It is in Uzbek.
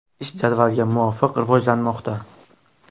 Ish jadvalga muvofiq rivojlanmoqda.